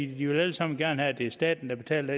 de vil alle sammen gerne have at det er staten der betaler